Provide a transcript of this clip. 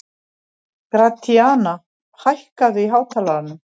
Gratíana, hækkaðu í hátalaranum.